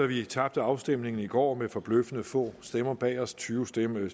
vi tabte afstemningen i går med forbløffende få stemmer bag os tyve stemmer